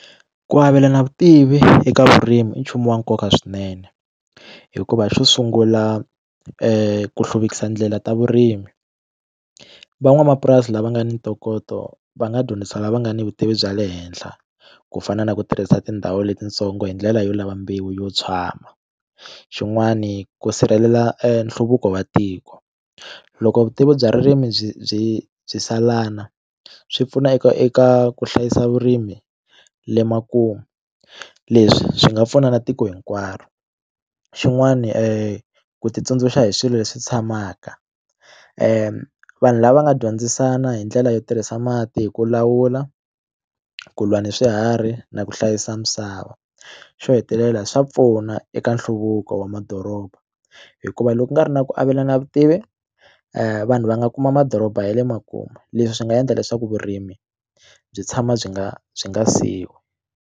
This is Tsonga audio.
Ku avelana vutivi eka vurimi i nchumu wa nkoka swinene hikuva xo sungula ku hluvukisa ndlela ta vurimi van'wamapurasi lava nga ni ntokoto va nga dyondzisa lava nga ni vutivi bya le henhla ku fana na ku tirhisa tindhawu letintsongo hi ndlela yo lava mbewu yo tshwama xin'wani ku sirhelela nhluvuko wa tiko loko vutivi bya ririmi byi byi byi salana swi pfuna eka eka ku hlayisa vurimi le makumu leswi swi nga pfuna na tiko hinkwaro xin'wani ku ti tsundzuxa hi swilo leswi tshamaka vanhu lava nga dyondzisana hi ndlela yo tirhisa mati hi ku lawula ku lwa ni swiharhi na ku hlayisa misava xo hetelela swa pfuna eka nhluvuko wa madoroba hikuva loko u nga ri na ku avelana vutivi vanhu va nga kuma madoroba ya le makumu leswi swi nga endla leswaku vurimi byi tshama byi nga byi nga .